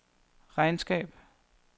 regnskab